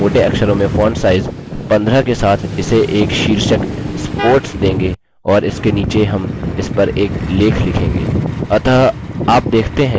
अतः हम पहले मोटे अक्षरों में font size 15 के साथ इसे एक शीर्षक sports देंगे और इसके नीचे हम इसपर एक लेख लिखेंगे